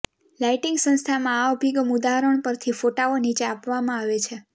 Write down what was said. lighting સંસ્થામાં આ અભિગમ ઉદાહરણ પરથી ફોટાઓ નીચે આપવામાં આવે છે